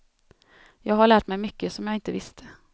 Jag har lärt mig mycket som jag inte visste.